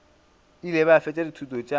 ile a fetša dithuto tša